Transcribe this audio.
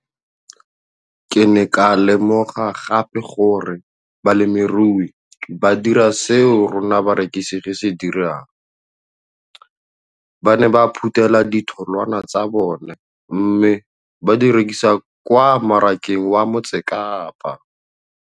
Ke ne ka lemoga gape gore balemirui ba dira seo rona barekisi re se dirang, ba ne ba phuthela ditholwana tsa bona mme ba di rekisa kwa marakeng wa Motsekapa.